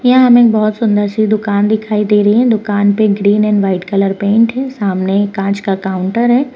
यहाँ हमें बहौत सुंदर सी दुकान दिखाई दे रही है दुकान पे green and white colour paint है सामने एक कांच का काउंटर है।